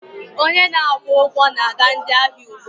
Onye na-akwụ ụgwọ na-aga ndị ahịa ugbu a.